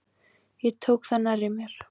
Ég tók það nærri mér.